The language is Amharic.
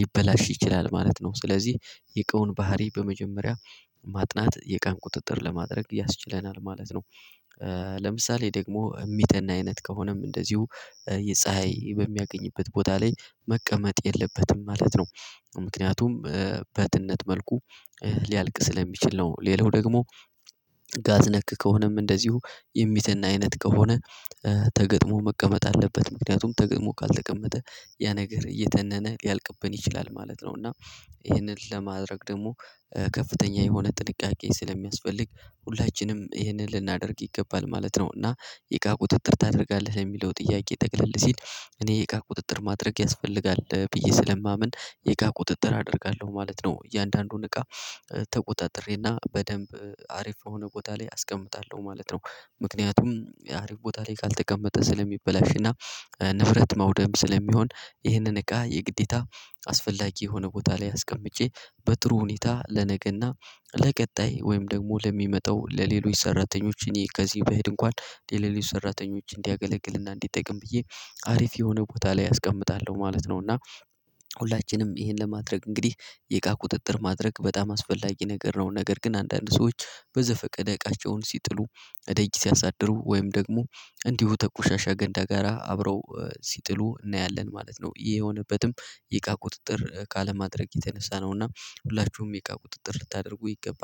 ሊበላሽ ይችላል ማለት ነው። ስለዚህ የእቃውን ባህሪ በመጀመሪያ ማጥናት የእቃን ቁጥጥር ለማድረግ ያስችለናል ማለት ነው። ለምሳሌ ደግሞ እሚተን አይነት ከሆነም እንደዚሁ የፀሀይ በሚያገኝበት ቦታ ላይ መቀመጥ የለበትም ማለት ነው። ምክንያቱም በትነት መልኩ ሊያልቅ ስለሚችል ነው። ሌላው ደግሞ ጋዝ ነክ ከሆነም እንደዚሁ የሚትን አይነት ከሆነ ተገጥሞ መቀመጥ አለበት ምክንያቱም ተገጥሞ ካልተቀመጠ ያ ነገር እየተነነ ሊያልቅብን ይችላል ማለት ነው። እና ይሄንን ለማድረግ ደግሞ ከፍተኛ የሆነ ጥንቃቄ ሰለሚያስፈልግ ሁላችንም ይህንን ልናደርግ ይገባል ማለት ነው። እና የእቃ ቁጥጥር ታደርጋለህ ለሚለው ጥያቄ ጠቅለል ሲል እኔ የእቃ ቁጥጥር ማድረግ ያስፈልጋል ብዬ ስለማምን የእቃ ቁጥጥር አደርጋለሁ ማለት ነው። እያንዳንዱን እቃ ተቆጣጥሬና በደንብ አሪፍ የሆነ ቦታ ላይ አስቀምጣለሁ ማለት ነው። ምክንያቱም አሪፍ ቦታ ላይ ካልተቀመጠ ስለሚበላሽ እና ንብረት መውደም ስለሚሆን ይህንን እቃ የግዴታ አስፈላጊ የሆነ ቦታ ላይ አስቀምጬ በጥሩ ሁኔታ ለነገ እና ለቀጣይ ወይም ደግሞ ለሚመጣው ለሌሎች ሰራተኞች እኔ ከዚህ ብሄድ እንኳን ለሌሎች ሰራተኞች እንዲያገለግልና እንዲጠቅም ብዬ አሪፍ የሆነ ቦታ ላይ አስቀምጣለሁ ማለት ነው። እና ሁላችንም ይሄን ለማድረግ እንግዲህ የእቃ ቁጥጥር ማድረግ በጣም አስፈላጊ ነገር ነው። ነገር ግን አንዳንድ ሰዎች በዘፈቀደ እቃቸውን ሲጥሉ ደጅ ሲያሳድሩ ወይም ደግሞ እንዲሁ ተቆሻሻ ገንዳ ጋራ አብረው ሲጥሉ እናያለን ማለት ነው። ይሄ የሆነበትም የእቃ ቁጥጥር ካለማድረግ የተነሳ ነውና ሁላችሁም የእቃ ቁጥጥር ልታደርጉ ይገባል